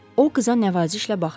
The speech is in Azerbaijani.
O qıza nəvazişlə baxdı.